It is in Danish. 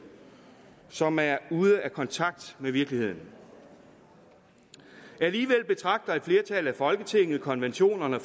som er ude af kontakt med virkeligheden alligevel betragter et flertal i folketinget konventionerne